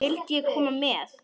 Vildi ég koma með?